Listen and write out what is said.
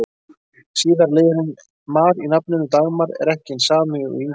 Síðari liðurinn-mar í nafninu Dagmar er ekki hinn sami og í Ingimar.